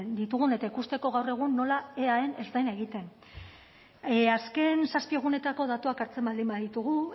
ditugun eta ikusteko gaur egun nola eaen ez den egiten azken zazpi egunetako datuak hartzen baldin baditugu